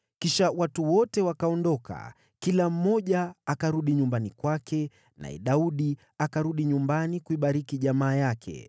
Kisha watu wote wakaondoka, kila mmoja akarudi nyumbani kwake, naye Daudi akarudi nyumbani kuibariki jamaa yake.